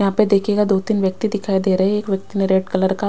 यहा पे देखियेगा दो तीन व्यक्ति दिखाई दे रहे है व्यक्ति ने रेड कलर का--